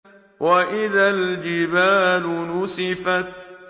وَإِذَا الْجِبَالُ نُسِفَتْ